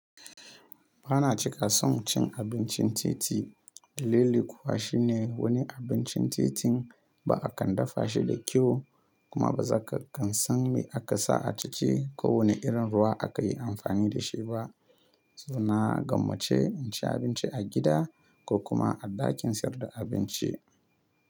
Ba na cika son cin abincin titi. Dalili kuwa shi ne wani abincin titin ba a kan dafa shi da kyau kuma ba za ka kan san me aka sa a ciki ko wane irin ruwa aka yi amfani da shi ba. So na gwamma ce in ci abinci a gida ko kuma a ɗakin sayar da abinci.